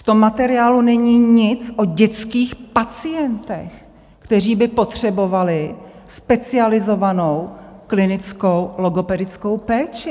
V tom materiálu není nic o dětských pacientech, kteří by potřebovali specializovanou klinickou logopedickou péči.